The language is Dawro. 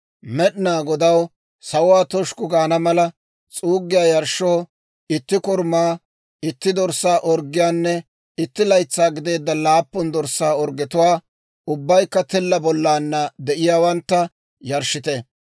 Med'inaa Godaw sawuwaa toshukku gaana mala, s'uuggiyaa yarshshoo, itti korumaa, itti dorssaa orggiyaanne itti laytsaa gideedda laappun dorssaa orggetuwaa, ubbaykka tilla bollana de'iyaawantta, yarshshite.